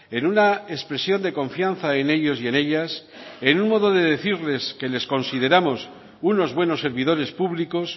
en una expresión de confianza en ellos y en ellas en un modo de decirles que les consideramos unos buenos servidores públicos